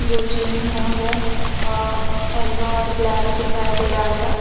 जो जिम है वो अ एलो ब्लैक दिखाई दे रहा है।